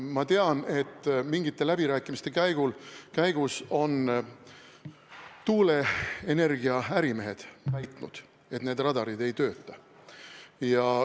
Ma tean, et mingite läbirääkimiste käigus on tuuleenergia ärimehed väitnud, et need radarid ei tööta.